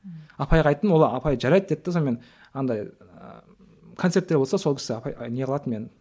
ммм апайға айттым ол апай жарайды деді де сонымен андай ыыы концерттер болса сол кісі апай не қылатын мені